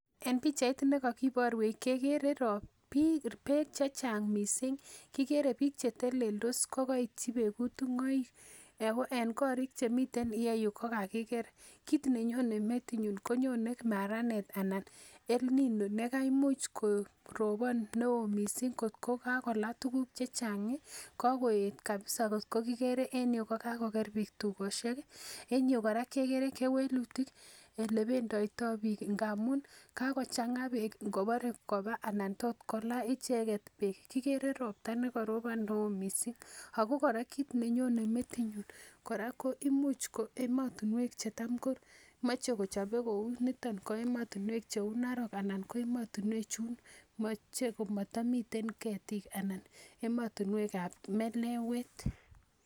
En pichait nekokiborwech kekere biik beek chechang missing kikere biik cheteleldos ko koityi beek kutung'oik en korik chemiten ireu ko kakiker kit nenyone metinyun konyone maranet anan El nino nekamuch korobon neoo missing kot ko kakolaa tuguk chechang ih kakoet kabisa kot ko kikere en yuu kakoker biik tugosiek en yuu kora kekere kewelutik elebenditoo biik amun kokochang'a beek ngobore koba ana tot kolaa icheket beek kikere ropta nekorobon neoo missing ako kora kit nenyone metinyun kora ko imuch ko emotinwek chetam ko moche kochobe kou niton ko emotinwek cheu Narok anan ko emotinwek chun moche komotomiten ketik anan emotinwek ab melewet